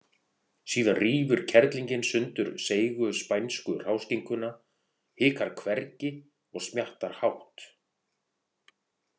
Síðan rífur kerlingin sundur seigu, spænsku hráskinkuna, hikar hvergi og smjattar hátt.